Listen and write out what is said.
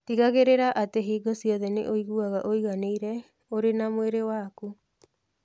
Tigagĩrĩra atĩ hingo ciothe nĩ ũiguaga ũiganĩire ũrĩ na mwĩrĩ waku.